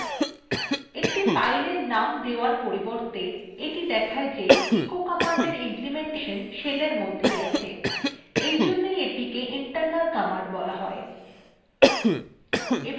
একটি fileএর name দেওয়ার পরিবর্তে এটি দেখায় যে echo command implementation shellএর মধ্যেই আছে এইজন্যই এটিকে internal command বলা হয়